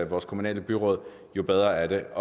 vores kommunale byråd jo bedre er det